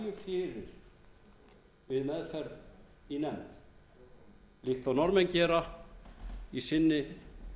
lægju fyrir við meðferð í nefnd líkt og norðmenn gera í sinni